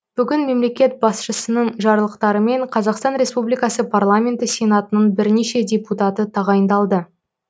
бүгін мемлекет басшысының жарлықтарымен қазақстан республикасы парламенті сенатының бірнеше депутаты тағайындалды